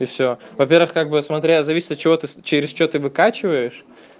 и всё во-первых как бы смотря зависит от чего ты через что ты выкачиваешь